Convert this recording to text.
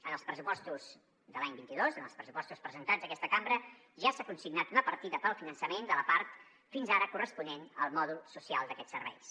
en els pressupostos de l’any vint dos en els pressupostos presentats a aquesta cambra ja s’ha consignat una partida per al finançament de la part fins ara corresponent al mòdul social d’aquests serveis